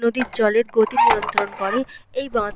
নদীর জলের গতি নিয়ন্ত্রণ করে এই বাঁধ।